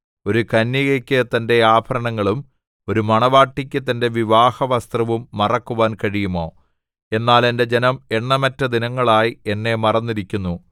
ഒരു കന്യകയ്ക്ക് തന്റെ ആഭരണങ്ങളും ഒരു മണവാട്ടിക്ക് തന്റെ വിവാഹവസ്ത്രവും മറക്കുവാൻ കഴിയുമോ എന്നാൽ എന്റെ ജനം എണ്ണമറ്റ ദിനങ്ങളായി എന്നെ മറന്നിരിക്കുന്നു